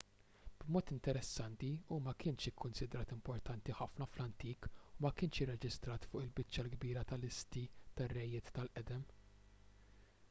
b'mod interessanti hu ma kienx ikkunsidrat importanti ħafna fl-antik u ma kienx irreġistrat fuq il-biċċa l-kbira tal-listi tar-rejiet tal-qedem